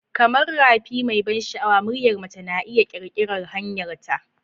Kamar rafi mai ban sha'awa, muryar mace na iya ƙirƙirar hanyarta.